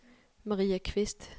Maria Qvist